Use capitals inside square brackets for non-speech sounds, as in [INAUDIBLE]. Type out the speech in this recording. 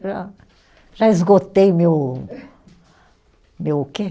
Já, já esgotei meu, [LAUGHS] meu o quê?